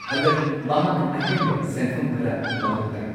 ꯍꯟꯗꯛ ꯃꯍꯥꯛ ꯑꯍꯦꯟꯕ ꯁꯦꯟꯐꯝ ꯈꯔ ꯃꯊꯧ ꯇꯥꯏ꯫